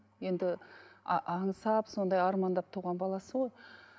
енді аңсап сондай армандап туған баласы ғой